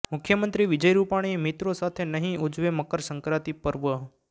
મુખ્યમંત્રી વિજય રૂપાણી મિત્રો સાથે નહિ ઉજવે મકરસંક્રાંતિ પર્વ